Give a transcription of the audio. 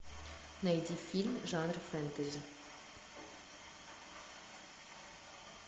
найди фильм жанра фэнтези